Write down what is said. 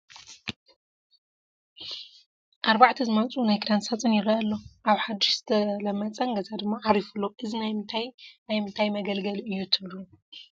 4 ዝማዕፅኡ ናይ ክዳን ሳፁን ይረአ ኣሎ፡፡ ኣብ ሓዱሽን ዝተለመፀን ገዛ ድማ ዓሪፉ ኣሎ፡፡ እዚ ናይ ምንታይ ናይ ምንታይ መገልገሊ እዩ ትብሉ?